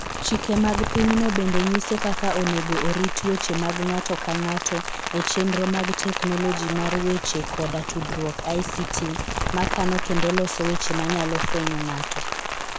Chike mag pinyno bende nyiso kaka onego orit weche mag ng'ato ka ng'ato e chenro mag teknoloji mar weche koda tudruok (ICT) ma kano kendo loso weche manyalo fwenyo ng'ato (PII).